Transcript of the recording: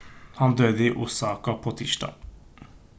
han døde i osaka på tirsdag